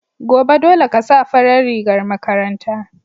Gobe, dole ka sa farar rigar makaranta.